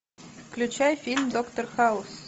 включай фильм доктор хаус